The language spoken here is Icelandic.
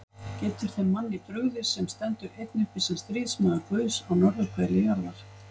Getur þeim manni brugðið, sem stendur einn uppi sem stríðsmaður Guðs á norðurhveli jarðar?